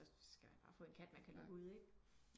Så skal man bare få en kat man kan lukke ud ik